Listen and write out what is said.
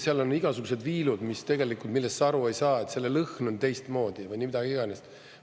Seal on igasugused viilud, millest sa aru ei saa, selle lõhn on teistmoodi või mida iganes.